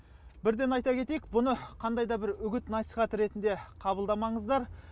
бірден айта кетейік бұны қандай да бір үгіт насихат ретінде қабылдамаңыздар